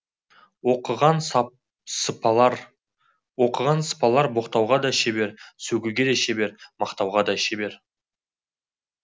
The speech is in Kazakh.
оқыған сыпалар боқтауға да шебер сөгуге де шебер мақтауға да шебер